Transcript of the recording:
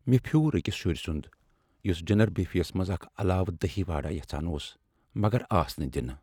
مےٚ پھِیوٗر أکس شٗرِ سٗند یٗس ڈنر بفیٚیس منٛز اکھ علاوٕ دہی وڈا یژھان اوس مگر آس نہٕ دِنہٕ ۔